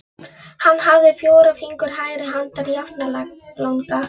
Hann hafði fjóra fingur hægri handar jafnlanga.